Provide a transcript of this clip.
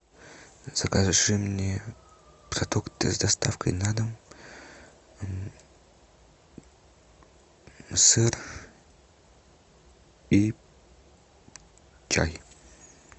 закажи мне продукты с доставкой на дом сыр и чай